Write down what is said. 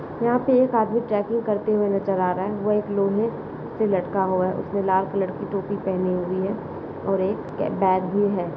यहाँ पे एक आदमी ट्रैकिंग करते हुए नजर आ रहा है वह एक लोहे से लटका हुआ उसने लाल कलर की टोपी पहनी हुई है और एक क-बैग भी है।